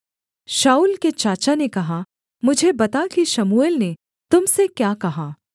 शाऊल के चाचा ने कहा मुझे बता कि शमूएल ने तुम से क्या कहा